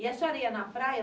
E a senhora ia na praia?